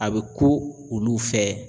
A bɛ ku olu fɛ